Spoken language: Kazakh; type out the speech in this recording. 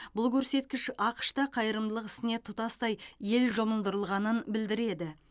бұл көрсеткіш ақш та қайырымдылық ісіне тұтастай ел жұмылдырылғанын білдіреді